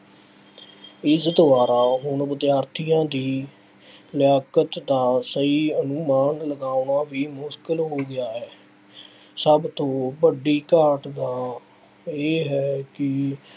ਇਸ ਦੁਆਰਾ ਹੁਣ ਵਿਦਿਆਰਥੀਆਂ ਦੀ ਲਿਆਕਤ ਦਾ ਸਹੀ ਅਨੁਮਾਨ ਲਗਾਉਣਾ ਵੀ ਮੁਸ਼ਕਿਲ ਹੋ ਗਿਆ ਹੈ। ਸਭ ਤੋਂ ਵੱਡੀ ਘਾਟ ਦਾ ਇਹ ਹੈ ਕਿ